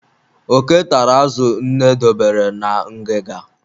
Oke tara azụ nne dobere na ngịga.